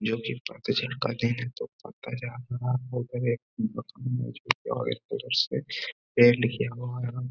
जो कि पतझड़ का --